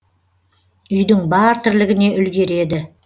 үйдің бар тірлігіне үлгереді